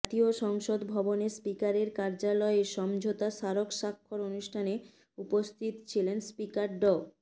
জাতীয় সংসদ ভবনে স্পিকারের কার্যালয়ে সমঝোতা স্মারক স্বাক্ষর অনুষ্ঠানে উপস্থিত ছিলেন স্পিকার ড